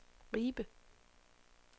Ribe